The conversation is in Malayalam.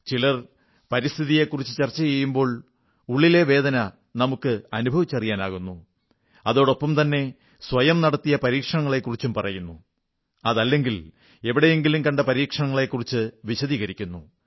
ചിലർ പരിസ്ഥിതിയെക്കുറിച്ചു ചർച്ച ചെയ്യുമ്പോൾ ഉള്ളിലെ വേദന നമുക്ക് അനുഭവിച്ചറിയാനാകുന്നു അതോടൊപ്പംതന്നെ സ്വയം നടത്തിയ പരീക്ഷണത്തെക്കുറിച്ചും പറയുന്നു അതല്ലെങ്കിൽ എവിടെങ്കിലും കണ്ട പരീക്ഷണത്തെക്കുറിച്ചു വിശദീകരിക്കുന്നു